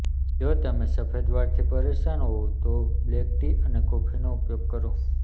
જો તમે સફેદ વાળ થી પરેશાન હોઉં તો બ્લેક ટી અને કોફી નો ઉપયોગ કરો